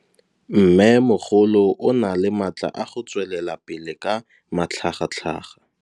Mmêmogolo o na le matla a go tswelela pele ka matlhagatlhaga.